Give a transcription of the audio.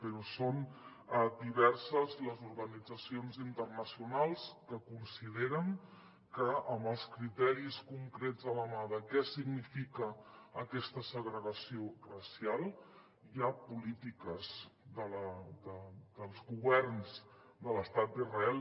però són diverses les organitzacions internacionals que consideren que amb els criteris concrets a la mà de què significa aquesta segregació racial hi ha polítiques dels governs de l’estat d’israel